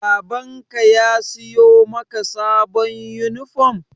Baban ka ya siyo maka sabon yunifom?